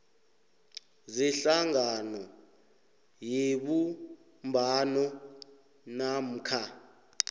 zehlangano yebumbano namkha